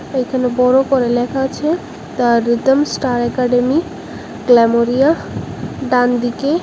এখানে বড় করে লেখা আছে the rhythm star academy glamoria ডানদিকে--